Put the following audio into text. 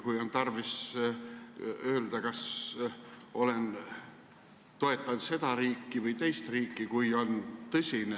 Kui on tarvis öelda, kas toetan seda riiki või teist riiki, kui on tõsine ...